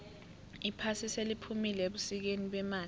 iphasi seliphumile ebusikeni bemali